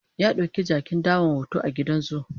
ya ɗauki jakin dawan hoto a gidan zoo